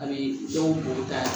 A bɛ dɔw boli ka